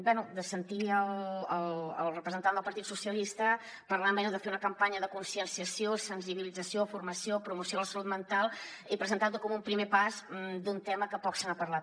bé de sentir el representant del partit socialistes parlant de fer una campanya de conscienciació sensibilització formació promoció de la salut mental i presentar ho com un primer pas d’un tema que poc se n’ha parlat